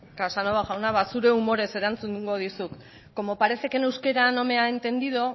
casanova jauna ba zure humorez erantzun egingo dizut como parece que en euskera no me ha entendido